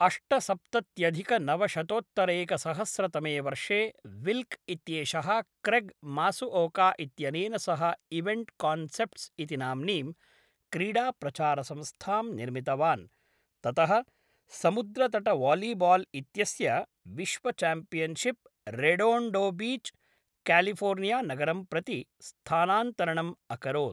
अष्तसप्तत्यधिकनवशतोत्तरैकसहस्रतमे वर्षे विल्क् इत्येषः Craig Masuoka इत्यनेन सह इवेण्ट् कान्सेप्ट्स् इति नाम्नीं क्रीडाप्रचारसंस्थां निर्मितवान्, ततः समुद्रतटवालीबाल् इत्यस्य विश्वचाम्पियन्शिप् रेडोण्डोबीच्, कालिफोर्नियानगरं प्रति स्थानान्तरणम् अकरोत्।